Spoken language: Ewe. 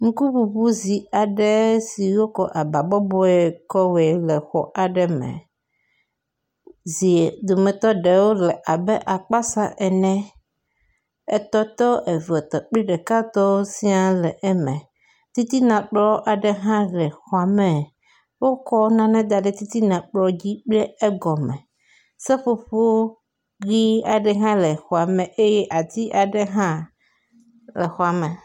Ŋkuŋuŋui zi aɖe si wokɔ aba bɔbɔe kɔ wɔe le exɔ aɖe me. Zi dometɔ ɖewo le akpasa ene, etɔ̃ tɔ, eve tɔ kple ɖeka tɔ sia wole exɔa me. Titina kplɔ hã le xɔa me. Wokɔ nane da ɖe titina kplɔ dzi kple egɔme, seƒoƒo ʋɛ̃ aɖe hã le xɔa me eye ati aɖe hã le xɔa me.